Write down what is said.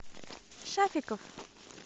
шафиков